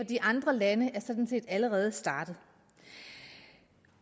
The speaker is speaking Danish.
de andre lande er sådan set allerede startet